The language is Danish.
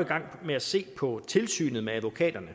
i gang med at se på tilsynet med advokaterne